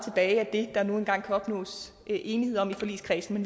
af det der nu engang kan opnås enighed om i forligskredsen